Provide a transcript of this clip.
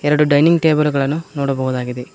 ಎರಡು dining table ಗಳನ್ನು ನೋಡಬಹುದಾಗಿದೆ.